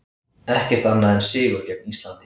Ekkert annað en sigur gegn Íslandi